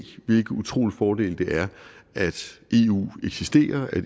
hvilke utrolige fordele det giver at eu eksisterer at